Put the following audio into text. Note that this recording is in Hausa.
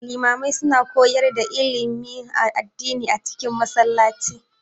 Limamai su na koyar da ilimin addini a cikin Masallaci